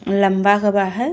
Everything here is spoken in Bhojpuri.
लंबा का बा हय।